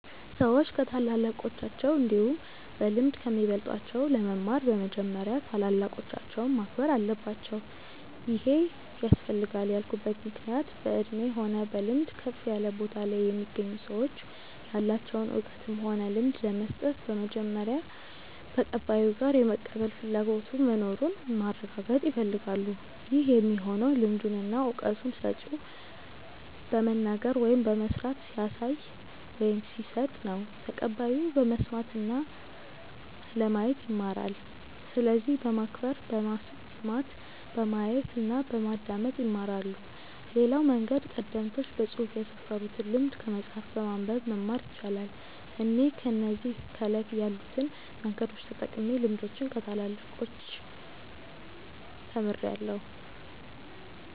ሰዎች ከታላላቆቻቸው እንዲሁም በልምድ ከሚበልጧቸው ለመማር በመጀመሪያ ታላላቆቻቸውን ማክበር አለባቸው ይሄ ያስፈልጋል ያልኩበት ምክንያት በእድሜ ሆነ በልምድ ከፍ ያለ ቦታ ላይ የሚገኙ ሰዎች ያላቸውን እውቀትም ሆነ ልምድ ለመስጠት በመጀመሪያ ተቀባዩ ጋር የመቀበል ፍላጎቱ መኑሩን ማረጋገጥ ይፈልጋሉ ይህ የሚሆነው ልምዱን እና እውቀቱን ሰጪው በመናገር ወይም በመስራት ሲያሳይ ወይም ሲሰጥ ነው ተቀባዩ በመስማት እና ለማየት ይማራል። ስለዚህ በማክበር በመስማት፣ በማየት እና በማዳመጥ ይማራሉ። ሌላው መንገድ ቀደምቶች በፅሁፍ ያስፈሩትን ልምድ ከመጽሐፍ በማንበብ መማር ይቻላል። እኔ እነዚህ ከላይ ያሉትን መንገዶች ተጠቅሜ ልምዶችን ከታላላቆቻች ተምርያለው።